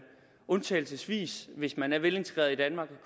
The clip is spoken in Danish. undtagelsesvis hvis man er velintegreret i danmark